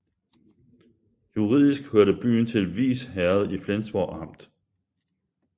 Juridisk hørte byen til Vis Herred i Flensborg Amt